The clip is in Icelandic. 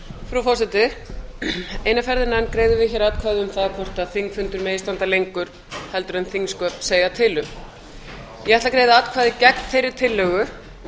frú forseti eina ferðina enn greiðum við hér atkvæði um það hvort þingfundur megi standa lengur en þingsköp segja til um ég ætla að greiða atkvæði gegn þeirri tillögu